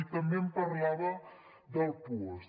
i també em parlava del puosc